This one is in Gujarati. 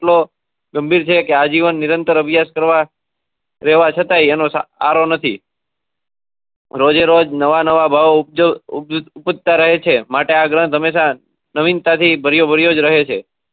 ગંભીર છે આજીવન નીરાર્ન્તર અભ્યાસઃ કરવા રેવા છતાય એનો આરો નથી રોજે રોજ નવા ભાવો ઉપજ તા રહે છે માટે આ ગ્રંથ નવીનતા થી ભર્યો ભર્યો રહે છે